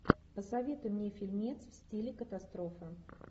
посоветуй мне фильмец в стиле катастрофа